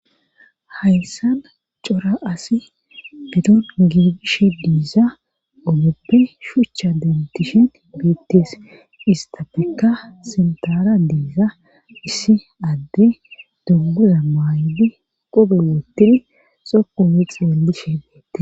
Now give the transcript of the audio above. Hayssan cora asi bedon giigish diiza ogoppe shuchcha dentishet beettees istafekka sintara diiza issi adde dunguza maaydi qobootidi xoku mix wallishe beette